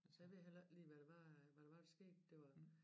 Altså jeg ved heller ikke lige hvad det var hvad det var der skete det var